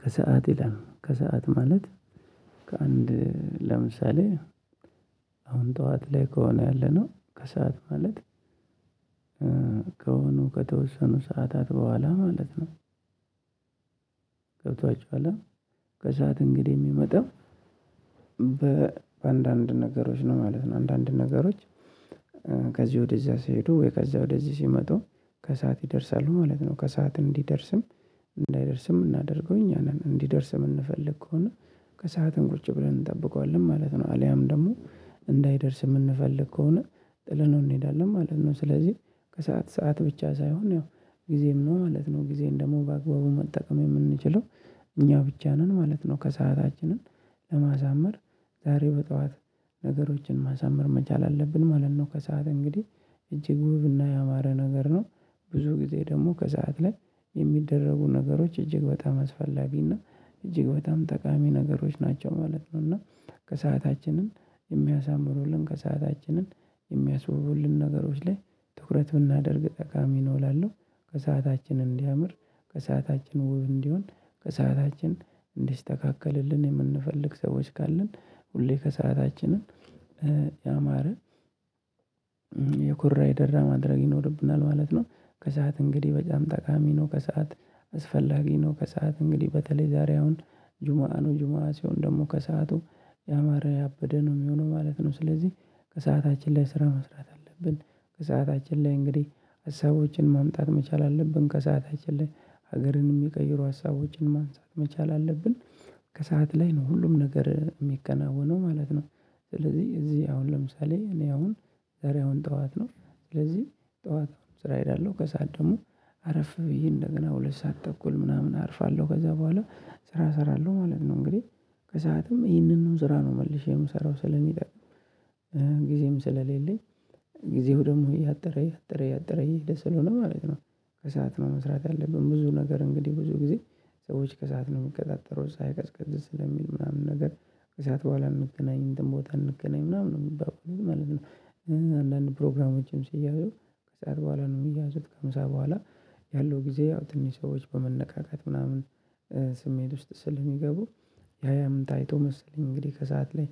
ከሰአት ይላል ከሰአት ማለት ከአንድ ለምሳሌ አሁን ጠዋት ላይ ከሆነ ያለነው ከሰአት ማለት ከሆኑ ከተወሰኑ ሰዓታት በኋላ ማለት ነው። ገብቷችኋል ከሰአት እንግዲህ የሚመጣው። በአንዳንድ ነገሮች ነው ማለት ነው አንዳንድ ነገሮች። ከዚህ ወደዚያ ሲሄዱ ወይ ከዚያ ወደዚህ ሲመጡ ከሰአት ይደርሳሉ ማለት ነው። ከሰአት እንዲደርስም እንዳይደርስም እናደርገው እኛ ነን እንዲደርስ የምንፈልግ ከሆነ ከሰአትን ቁጭ ብለን እንጠብቀዋለን ማለት ነው። አልያም ደግሞ እንዳይደርስ የምንፈልግ ከሆነ ጥለነው እንሄዳለን ማለት ነው። ስለዚህ ከሰአት ሰዓት ብቻ ሳይሆን ያው ጊዜም ነው ማለት ነው። ጊዜን ደግሞ በአግባቡ መጠቀም የምንችለው እኛ ብቻ ነን ማለት ነው። ከሰአታችንን ለማሳመር ዛሬ በጠዋት ነገሮችን ማሳመር መቻል አለብን ማለት ነው። ከሰአት እንግዲህ እጅግ ውብና ያማረ ነገር ነው። ብዙ ጊዜ ደግሞ ከሰአት ላይ የሚደረጉ ነገሮች እጅግ በጣም አስፈላጊና እና እጅግ በጣም ጠቃሚ ነገሮች ናቸው ማለት ነው። እና ከሰአታችንን የሚያሳምሩልን ከሰአታችንን የሚያስወውሉን ነገሮች ላይ ትኩረት ብናደርግ ጠቃሚ ነው እላለሁ። ከሰአታችን እንዲያምር ከሰአታችን ውብ እንዲሆን ከሰአታችን እንዲስተካከልልን የምንፈልግ ሰዎች ካለን ሁሌ ከሰአታችንን ያማረ የኩራ የደራ ማድረግ ይኖርብናል ማለት ነው። ከሰአት እንግዲህ በጣም ጠቃሚ ነው። ከሰአት አስፈላጊ ነው ከሰአት እንግዲህ በተለይ ዛሬ አሁን ጁማኑ ጁማሲዮን ደግሞ ከሰአቱ ያማረ ያበደ ነው የሚሆነው ማለት ነው። ስለዚህ ከሰአታችን ላይ ስራ መስራት አለብን። ከሰአታችን ላይ እንግዲህ ሀሳቦችን ማምጣት መቻል አለብን ከሰአታችን ላይ ሀገርን የሚቀይሩ ሀሳቦችን ማንሳት መቻል አለብን። ከሰአት ላይ ነው ሁሉም ነገር የሚከናወነው ማለት ነው። ስለዚህ እዚህ አሁን ለምሳሌ እኔ አሁን ዛሬ አሁን ጠዋት ነው። ስለዚህ ጠዋት ስራ እሄዳለሁ ከሰአት ደግሞ አረፍ ብዬ እንደገና ሁለት ሰዓት ተኩል ምናምን አርፋለሁ ከዛ በኋላ ስራ እሰራለሁ ማለት ነው። እንግዲህ ከሰአትም ይሄንን ነው ስራ ነው መልሼ የምሰራው ስለሚጠቅም ጊዜም ስለሌለኝ ጊዜው ደግሞ እያጠረ እያጠረ እያጠረ እየሄደ ስለሆነ ማለት ነው። ከሰአት ነው መስራት ያለብን ብዙ ነገር እንግዲህ ብዙ ጊዜ ሰዎች ከሰአት ነው የምትቀጣጥረው ሳይቀዝቀዝ ስለሚል ምናምን ነገር ከሰአት በኋላ እንገናኝ እንትን ቦታ እንገናኝ ምናምን ነው የምባባለው ማለት ነው። አንዳንድ ፕሮግራሞችም ሲያዩ ከሰአት በኋላ ነው የሚያዙት ከምሳ በኋላ ያለው ጊዜ አውጥንትን ሰዎች በመነቃቃት ምናምን። ስሜት ውስጥ ስል የሚገቡ ያያምን ታይቶ መሰለኝ እንግዲህ ከሰአት ላይ